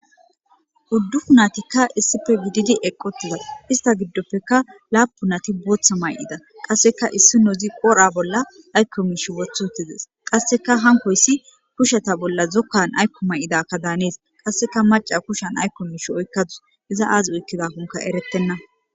huddufu natikka issife gididi eqqotiza ista giddoppeka laapu nati bootha may7ida qasseka issi no zi qora bolla aykko miish woth huttizes qasseka hankoyssi kusheta bolla zokkan aykko may7idakka daanees qasseka maca kushan aykko miish oykkadus iza aaz oykkida konka eretenna